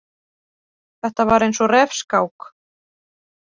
Þetta var eins og refskák.